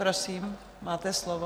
Prosím, máte slovo.